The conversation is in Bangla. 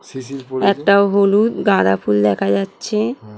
একটা হলুদ গাঁদা ফুল দেখা যাচ্ছে ।